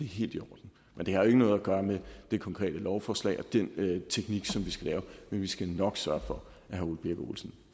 helt i orden men det har jo ikke noget at gøre med det konkrete lovforslag og den teknik vi skal lave men vi skal nok sørge for at herre ole birk olesen